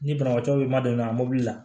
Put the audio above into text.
Ni banabaatɔ ma don i la a mɔbili la